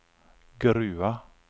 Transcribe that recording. Grua